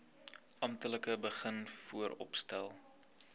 amptelik begin vooropstel